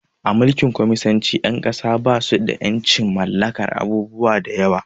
A Mulkin kwaminisanci ƴan ƙasa basu ƴancin mallakar abubuwa da yawa